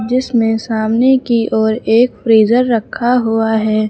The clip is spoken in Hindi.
जिसमें सामने की ओर एक फ्रिजर रखा हुआ है।